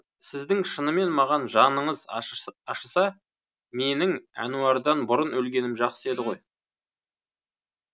сіздің шынымен маған жаныңыз ашыса менің әнуардан бұрын өлгенім жақсы еді ғой